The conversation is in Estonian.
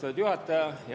Austatud juhataja!